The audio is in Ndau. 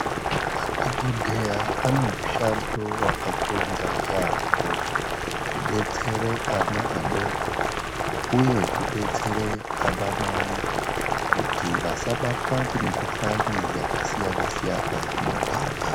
Madhokodheya anemishando vakakonza yaampho kudetsere ana adoko, uye kudetsere anamai kuti vasabatwa ngemikhuhlani yakasiyana-siyana mumuganga.